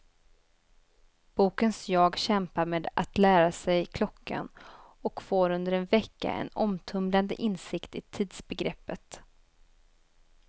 Bokens jag kämpar med att lära sig klockan, och får under en vecka en omtumlande insikt i tidsbegreppet.